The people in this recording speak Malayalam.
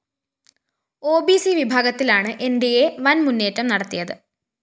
ഓ ബി സി വിഭാഗത്തിലാണ്‌ ന്‌ ഡി അ വന്‍ മുന്നേറ്റം നടത്തിയത്‌